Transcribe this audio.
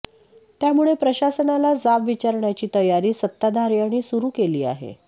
त्यामुळे प्रशासनाला जाब विचारण्याची तयारी सत्ताधार्यांनी सुरु केली आहे